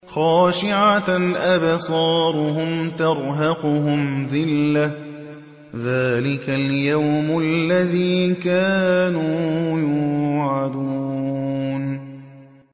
خَاشِعَةً أَبْصَارُهُمْ تَرْهَقُهُمْ ذِلَّةٌ ۚ ذَٰلِكَ الْيَوْمُ الَّذِي كَانُوا يُوعَدُونَ